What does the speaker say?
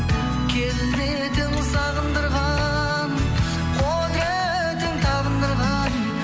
келбетің сағындырған құдыретің табындырған